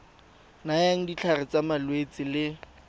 nayang ditlhare tsa malwetse le